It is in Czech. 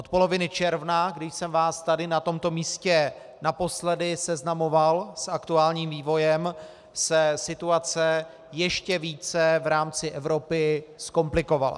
Od poloviny června, kdy jsem vás tady na tomto místě naposledy seznamoval s aktuálním vývojem, se situace ještě více v rámci Evropy zkomplikovala.